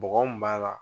Bɔgɔ mun b'a la